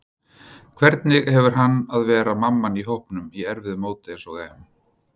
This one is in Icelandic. Hvernig hefur gengið að vera mamman í hópnum á erfiðu móti eins og EM?